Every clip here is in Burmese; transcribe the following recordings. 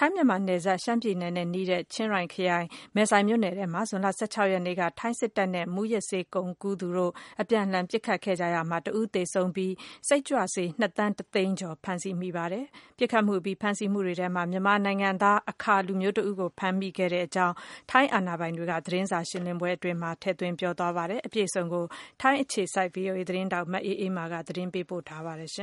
ထိုင်း-မြန်မာနယ်စပ် ရှမ်းပြည်နယ်နဲ့ နီးတဲ့ ချင်းရိုင်းခရိုင်၊ မယ်ဆိုင်မြို့နယ်ထဲမှာ ဇွန်လ ၁၆ ရက်နေ့က ထိုင်းစစ်တပ်နဲ့ မူးယစ်ဆေးဝါးကုန်ကူးတဲ့ ဂိုဏ်းအဖွဲ့ဝင်တွေ ပစ်ခတ်မူတွေဖြစ်ပွားတာမှာ လူတဦး သေဆုံးပြီး စိတ်ကြွဆေး ၂ သန်းတသိန်းကျော် ဖမ်းဆီးမိခဲ့ပါတယ်။ ပစ်ခတ်မူအပြီး ဖမ်းဆီးမူတွေထဲမှာ မြန်မာနိုင်ငံသား အခါလူမျိုးတဦးကို ဖမ်းမိခဲ့ကြောင်း ထိုင်းအာဏာပိုင်တွေက သတင်းစာရှင်းလင်းပွဲ အတွင်း ပြောကြားခဲ့ပါတယ်။ အပြည့်အစုံကိုတော့ ထိုင်းအခြေစိုက် သတင်းထောက် မအေးအေးမာက သတင်းပေးပို့ထားပါတယ်။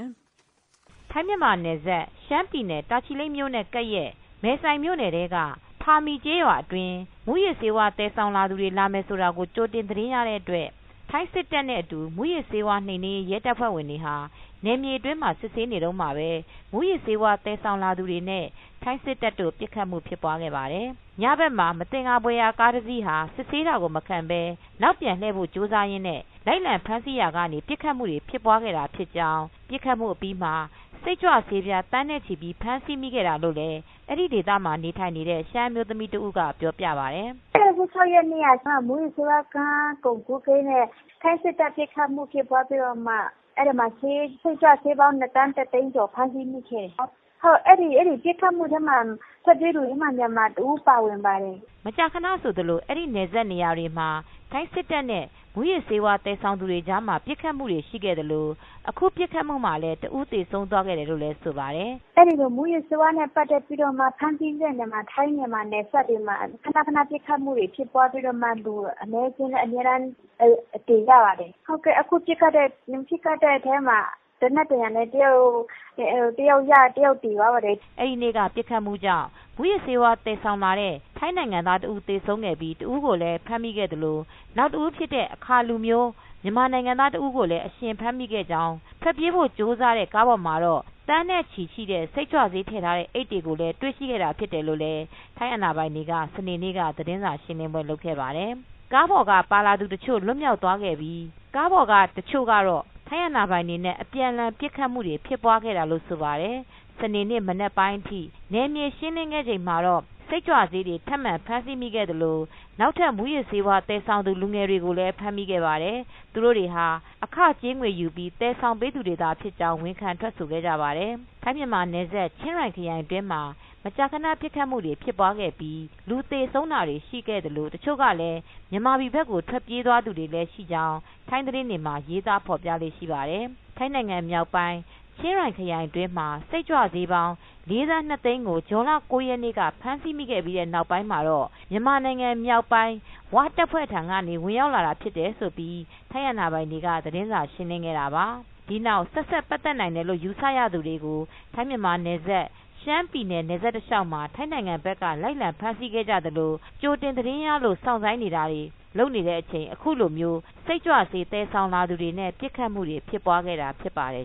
ထိုင်း-မြန်မာနယ်စပ် ရှမ်းပြည်နယ် ၊တာချီလိတ်မြိုနဲ့နီးတဲ့ မယ်ဆိုင်မြို့နယ်ထဲက ဖာမီကျေးရွာအတွင်း မူးယစ်ဆေးဝါး သယ်ဆောင်သူတွေလာမယ်ဆိုတာကို ကြိုတင်သတင်းရတဲ့ အတွက် ထိုင်းစစ်တပ်နဲ့ အတူ မူးယစ်နှိမ်နင်းရေး ရဲတပ်ဖွဲ့တွေဟာ နယ်မြေတွင်းမှာ စစ်ဆေးနေတုန်းမှာပဲ မူးယစ်ဆေးဝါး သယ်ဆောင်လာတဲ့သူတွေနဲ့ ထိုင်းစစ်တပ်တို့ ပစ်ခတ်မူတွေဖြစ်ခဲ့ပါတယ်။ ညဘက်မှာ မသင်္ကာဖွယ်ရာကားတစီးဟာ စစ်ဆေးတာကိုမခံပဲ နောက်ပြန်လှည့်ဖို့ ကြိုးစားရင်းနဲ့ လိုက်လံဖမ်းဆီးရာကနေ ပစ်ခတ်မူတွေဖြစ်ပွားခဲ့တာဖြစ်ကြောင်း ပစ်ခတ်မူအပြီးမှာ စိတ်ကြွဆေး သန်းနဲ့ ချီပြီး ဖမ်းဆီးမိခဲ့တာ ဖြစ်တယ်လို့ လည်း အဲဒီဒေသမှာ နေထိုင်နေတဲ့ ရှမ်းအမျိုးသမီးတဦးက ပြောပြပါတယ်။ “၁၆ ရက်နေ့က မူးယစ်ဆေးဝါးကုန်ကူးတဲ့ ဂိုဏ်းအဖွဲ့ဝင်တွေနဲ့ ထိုင်းစစ်တပ်ပစ်ခတ်မှုဖြစ်ပွားပြီးတော့မှ အဲဒီမှာ စိတ်ကြွဆေးပြားပေါင်း ၂ သန်းတသိန်းကျော် ဖမ်းဆီးမိခဲ့တယ်။အဲဒီပစ်ခတ်မှုထဲမှာ ထွက်ပြေးသူထဲမှာ မြန်မာတဦးပါဝင်တယ်။” မကြာခဏဆိုသလို အဲဒီနယ်စပ်နေရာတွေမှာ ထိုင်းစစ်တပ်နဲ့ မူယစ်ဆေးဝါး သယ်ဆောင်တဲ့ သူတွေကြားမှာ ပစ်ခတ်မူတွေရှိ ခဲ့သလို့အခု ပစ်ခတ်မူမှာလည်း တဦးသေဆုံးသွား ခဲ့တယ်လို့လည်း ဆိုပါတယ်။ “အဲဒီလို မူးယစ်ဆေးဝါးနဲ့ ပတ်သက်ပြီးတော့မှ ဖမ်းဆီးတဲ့နေရာတွေမှာ ထိုင်းမြန်မာနယ်စပ်တွေမှာ ခဏခဏ ပစ်ခတ်မှုတွေ ဖြစ်ပွားပြီးတော့မှ လူလည်းသေကြပါတယ်။ အခုပစ်ခတ်မှုထဲမှာလည်း သေနတ်ဒဏ်ရာနဲ့ တယောက်သေသွားပါတယ်။” အဲဒီနေ့ကပစ်ခတ်မူကြောင့် မူယစ်ဆေးဝါးသယ်ဆောင်လာတဲ့ ထိုင်းနိုင်ငံသားတဦး သေဆုံးခဲ့ပြီး တဦးကိုလည်း ဖမ်းမိသလို၊နောက်တဦးဖြစ်တဲ့အခါလူမျိုး မြန်မာနိုင်ငံသားတဦးကို အရှင်ဖမ်းမိခဲ့ကြောင်း ထွက်ပြေးဖို့ ကြိုးစားတဲ့ ကားပေါ်မှာတော့ သန်းနဲ့ချီရှိတဲ့ တဲ့စိတ်ကြွဆေးထည့်ထားတဲ့ အိတ်တွေကိုလည်း တွေရှိခဲ့တာဖြစ်တယ်လို့လည်း ထိုင်းအာဏာပိုင်တွေက စနေနေ့ က သတင်းစာရှင်းလင်းခဲ့ပါတယ် ။ ကားပေါ်က ပါလာသူတချို့ လွှတ်မြောက်သွားခဲ့ပြီး ကားပေါ်က လူတချိုကတော့ ထိုင်းအာဏာပိုင်တွေနဲ့ အပြန်အလှန် ပစ်ခတ်မူဖြစ်ပွားခဲ့တာလို့ဆိုပါတယ်။ စနေနေ့ မနက်ပိုင်းအထိ နယ်မြေရှင်းလင်းခဲ့ချိန်မှာတော့ စိတ်ကြွဆေးတွေ ထပ်မံဖမ်းဆီးမိခဲ့သလို နောက်ထပ် မူယစ်ဆေးဝါး သယ်ဆောင်သူ လူငယ်တွေကိုလည်းဖမ်းမိခဲ့ပါတယ်။ သူတိုတွေဟာ အခကြေးငွေယူပြီး သယ်ဆောင်ပေးသူတွေသာဖြစ်ကြောင်း ဝန်ခံထွက်ဆိုခဲ့ပါတယ်။ ထိုင်း-မြန်မာနယ်စပ်၊ ချင်းရိုင်ခရိုင်တွင်းမှာ မကြာခဏ ပစ်ခတ်မူတွေဖြစ်ပြီး လူသေဆုံးတာတွေရှိခဲ့သလို တချို့လည်းမြန်မာပြည် ဘက်ကို ထွက်ပြေးသွားသူတွေ လည်း ရှိကြောင်း ထိုင်းသတင်းတွေမှာ ရေးသားဖော်ပြလေ့ရှိပါတယ်။ ထိုင်းနိုင်ငံမြောက်ပိုင်း၊ ချင်းရိုင်ခရိုင်အတွင်းမှာ စိတ်ကြွဆေးပေါင်း ၄သန်း၂သိန်းကို ဇွန်လ ၉ရက်နေ့က ဖမ်းဆီးမိခဲ့ပြီး နောက်ပိုင်း မြန်မာနိုင်ငံ မြောက်ပိုင်း ဝတပ်ဖွဲထံကနေ ဝင်ရောက်လာတာဖြစ်တယ်လို့ထိုင်းအာဏာပိုင်တွေက သတင်းစာရှင်းလင်း ခဲ့ပါတယ်။ဒီနောက် ဆက်စပ်ပတ်သက်နိုင်တယ်လို့ ယူဆရသူတွေကို ထိုင်း-မြန်မာနယ်စပ်၊ ရှမ်းပြည်နယ် နယ်စပ်တလျောက် မှာ ထိုင်းဘက်က လိုက်လံဖမ်းဆီးနေကြသလ ကြိုတင် သတင်းရလို့ စောင့်ဆိုင်းနေတာတွေလုပ်နေတဲ့အချိန် အခုလိုမျိုး စိတ်ကြွဆေး သယ်ဆောင်လာသူတွေ နဲ့ပစ်ခတ်မူတွေဖြစ်ပွားခဲ့တာဖြစ်ပါတယ်